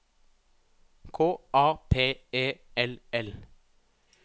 K A P E L L